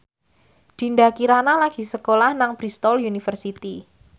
Dinda Kirana lagi sekolah nang Bristol university